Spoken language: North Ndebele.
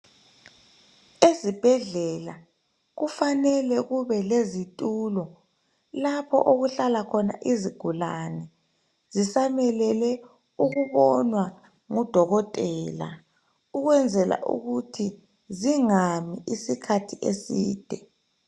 Ezibhedlela kufanele kube lezitulo lapho okuhlala khona izigulane zisamelele ukubonwa ngudokotela ukwenzela ukuthi zingami isikhathi eside.